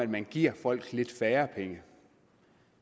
at man giver folk lidt færre penge